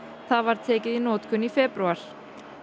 það var tekið í notkun í febrúar